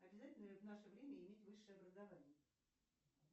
обязательно ли в наше время иметь высшее образование